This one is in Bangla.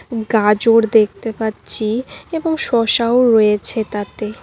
গাজর দেখতে পাচ্ছি এবং শসাও রয়েছে তাতে।